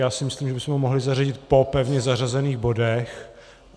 Já si myslím, že bychom ho mohli zařadit po pevně zařazených bodech.